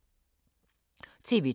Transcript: TV 2